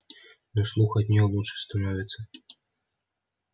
но слух от неё лучше становится